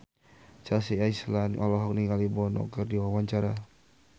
Chelsea Islan olohok ningali Bono keur diwawancara